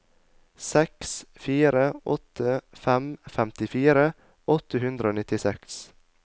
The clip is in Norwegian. seks fire åtte fem femtifire åtte hundre og nittiseks